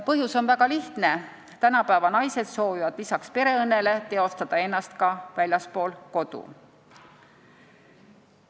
Põhjus on väga lihtne: tänapäeva naised soovivad lisaks perekonnale teostada ennast ka väljaspool kodu.